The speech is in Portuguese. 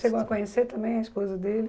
Chegou a conhecer também a esposa dele?